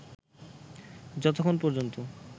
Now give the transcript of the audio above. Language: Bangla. যতক্ষন পর্যন্ত